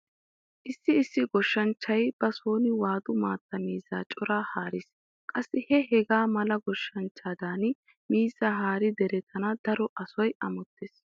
Issi issi goshshanchchay ba sooni waadu maatta miizzaa coraa haarees. Qassi he hegaa mala goshshanchchaadan miizzaa haaridi deretana daro asay amottees.